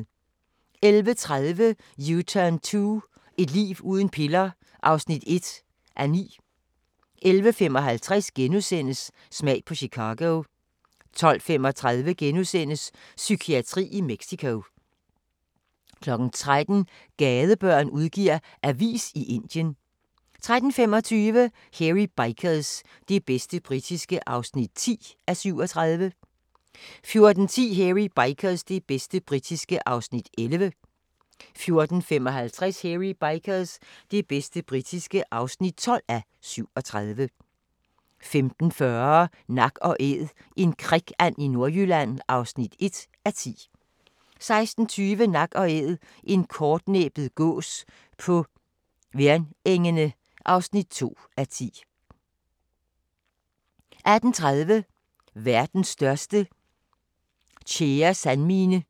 11:30: U-turn 2 – et liv uden piller (1:9) 11:55: Smag på Chicago * 12:35: Psykiatri i Mexico * 13:00: Gadebørn udgiver avis i Indien 13:25: Hairy Bikers – det bedste britiske (10:37) 14:10: Hairy Bikers – det bedste britiske (11:37) 14:55: Hairy Bikers – det bedste britiske (12:37) 15:40: Nak & æd - en krikand i Nordjylland (1:10) 16:20: Nak & Æd – en kortnæbbet gås på Værnengene (2:10) 18:30: Verdens største tjæresandmine